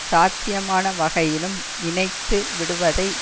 சாத்தியமான வகையிலும் இணைத்து விடுவதை